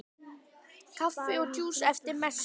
Kaffi og djús eftir messu.